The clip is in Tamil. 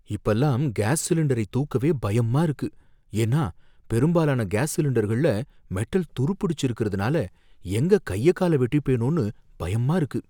இப்பல்லாம் கேஸ் சிலிண்டரை தூக்கவே பயமா இருக்கு ஏன்னா பெரும்பாலான கேஸ் சிலிண்டர்கள்ல மெட்டல் துருப்பிடிச்சி இருக்கறதுனால எங்க கையக்கால வெட்டிபேனோனு பயமா இருக்கு.